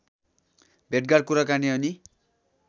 भेटघाट कुराकानी अनि